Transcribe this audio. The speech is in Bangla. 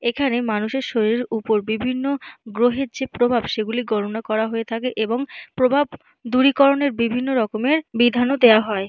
এখানে মানুষের শরীরের উপর বিভিন্ন গ্রহের যে প্রভাব সেগুলি গণনা করা হয়ে থাকে। এবং প্রভাব দূরীকরণের বিভিন্ন রকমের বিধানও দেওয়া হয়।